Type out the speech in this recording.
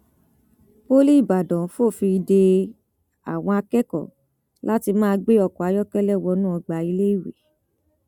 poli ìbàdàn fòfin de àwọn akẹkọọ láti máa gbé ọkọ ayọkẹlẹ wọnú ọgbà iléèwé